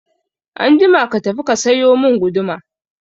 Anjima ka tafi ka sayo mun guduma